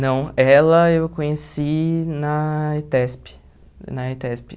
Não, ela eu conheci na ETESP, na ETESP.